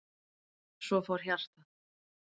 Svo fór hjartað.